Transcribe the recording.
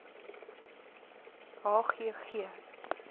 h g g